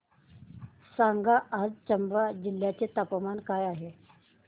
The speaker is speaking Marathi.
सांगा आज चंबा जिल्ह्याचे तापमान काय आहे